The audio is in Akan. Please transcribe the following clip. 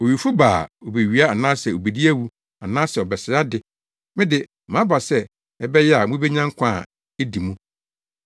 Owifo ba a, obewia anaasɛ obedi awu anaasɛ ɔbɛsɛe ade. Me de, maba sɛ ɛbɛyɛ a mubenya nkwa a edi mu.